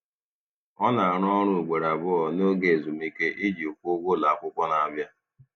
Ọ na-arụ ọrụ ugboro abụọ n'oge ezumike iji kwụọ ụgwọ ụlọakwụkwọ na-abịa.